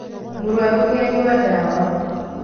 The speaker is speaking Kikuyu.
Mũrwaru nĩanyua ndawa